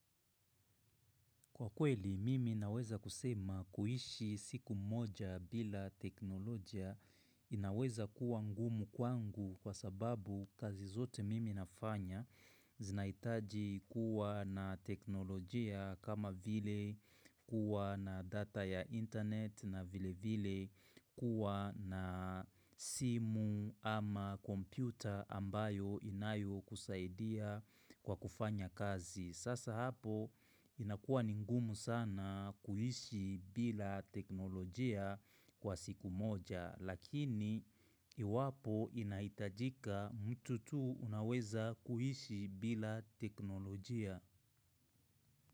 Kwa kweli, mimi naweza kusema kuishi siku moja bila teknolojia inaweza kuwa ngumu kwangu kwa sababu kazi zote mimi nafanya zinaitaji kuwa na teknolojia kama vile kuwa na data ya internet na vile vile kuwa na simu ama kompyuta ambayo inayokusaidia kwa kufanya kazi. Sasa hapo inakua ni ngumu sana kuishi bila teknolojia kwa siku moja lakini iwapo inaitajika mtu tu unaweza kuishi bila teknolojia.